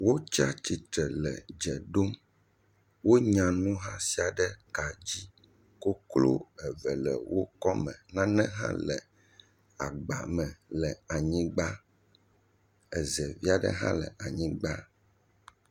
Nyɔnu eve wole dzeɖom. Wonya nu hã sia ɖe ka dzi. Koklo eve le wo kɔ me. Nane hã le agba me le anyigba. Ezevi aɖe hã le anyigba.